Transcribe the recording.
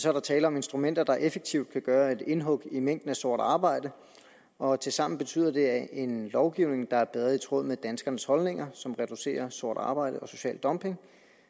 er der tale om instrumenter der effektivt kan gøre et indhug i mængden af sort arbejde og tilsammen betyder det en lovgivning der bedre er i tråd med danskernes holdninger som reducerer sort arbejde og social dumping